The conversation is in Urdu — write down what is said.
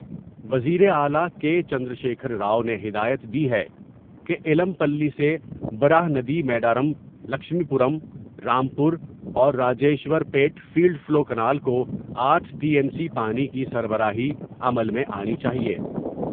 وزیراعلی کے چندرشیکھر راؤ نے ہدایت دی ہے کہ ایلم پلی سے براہ ندی میڈارم لکشمی پورم رام پور اور Rajeshwarpet flood flow canal کو آٹھ ٹی ایم سی پانی کی سربراہی عمل میں آنی چاہئے ۔